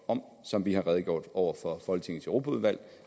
om som vi har redegjort for over for folketingets europaudvalg